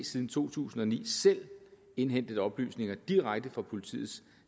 siden to tusind og ni selv indhentet oplysninger direkte fra politiets